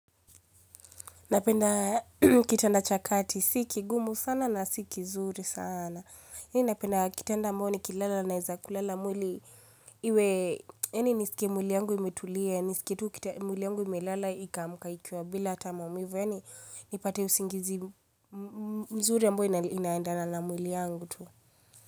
Napenda kitanda cha kati, si kigumu sana na si kizuri sana. Mi napenda kitanda ambayo nikilala naweza kulala mwili. Iwe, yaani nisikie mwili yangu imetulia, nisikie tu mwili yangu imelala ikaamka ikiwa bila hata maumivu. Yaani, nipate usingizi mzuri ambayo inaendana na mwili yangu tu.